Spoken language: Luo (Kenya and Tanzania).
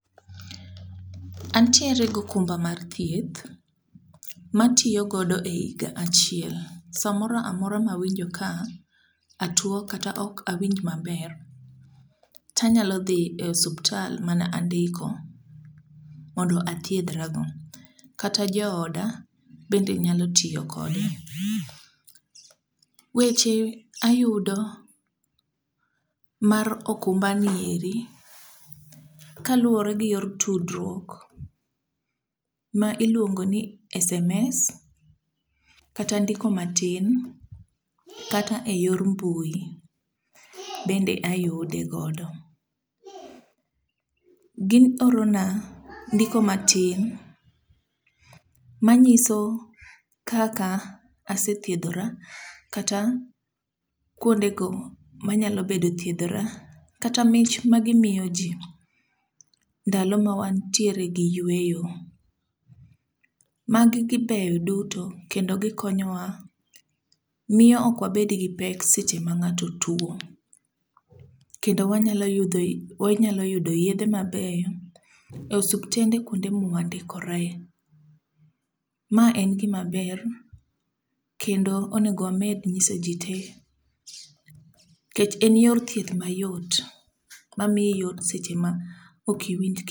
Antiere gokumba mar thieth ma atiyo godo e higa achiel. Samora amora ma awinjo ka atuwo kata ok awinj maber, tanyalo dhi e osuptal mana andiko mondo athiedhra go. Kata jooda bende nyalo tiyo kode. Weche ayudo mar okumbani eri, kaluwore kod yor tudruok ma iluongoni sms kata ndiko matin kata e yor mbui. Bende ayude godo. Giorona ndiko matin manyiso kaka asethiedhora kata kwondego manyalo bedo thiedhora kata mich magimiyo ji, ndalo ma wan tiere gi yweyo. Magi beyo duto kendo gikonyowa, miyo ok wabed gi pek seche mang'ato tuwo. Kendo wanyalo yudo yedhe mabeyo e osuptende kwonde mwandikoree. Ma en gimaber kendo onego wamed nyiso ji tee nikech en yor thieth mayot mamiyo yot seche ma ok iwiny.